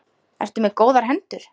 Ertu með góðar hendur?